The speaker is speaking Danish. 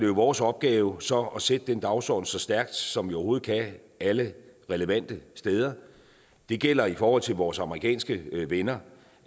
vores opgave så at sætte den dagsorden så stærkt som vi overhovedet kan alle relevante steder det gælder i forhold til vores amerikanske venner